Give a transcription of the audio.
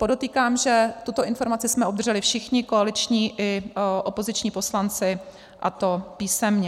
Podotýkám, že tuto informaci jsme obdrželi všichni koaliční i opoziční poslanci, a to písemně.